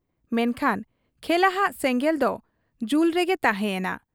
ᱢᱮᱱᱠᱷᱟᱱ ᱠᱷᱮᱞᱟᱦᱟᱜ ᱥᱮᱸᱜᱮᱞ ᱫᱚ ᱡᱩ ᱨᱮᱜᱮ ᱛᱟᱦᱮᱸ ᱭᱮᱱᱟ ᱾